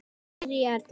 Sirrý Erla.